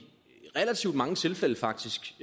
relativt mange tilfælde faktisk